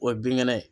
O ye binkɛnɛ ye